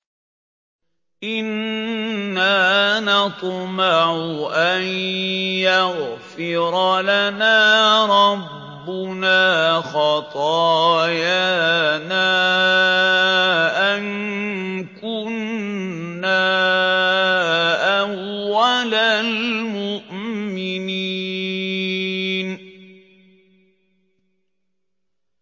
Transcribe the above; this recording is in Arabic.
إِنَّا نَطْمَعُ أَن يَغْفِرَ لَنَا رَبُّنَا خَطَايَانَا أَن كُنَّا أَوَّلَ الْمُؤْمِنِينَ